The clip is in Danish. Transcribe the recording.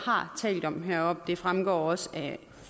har talt om heroppe det fremgår også af